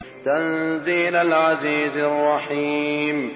تَنزِيلَ الْعَزِيزِ الرَّحِيمِ